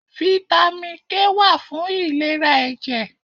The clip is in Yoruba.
Fítámì K wà fún ìlera ẹ̀jẹ̀.